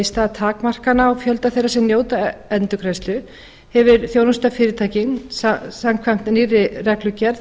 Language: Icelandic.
stað takmarkana á fjölda þeirra sem njóta endurgreiðslu við að þjónusta fyrirtækin samkvæmt nýrri reglugerð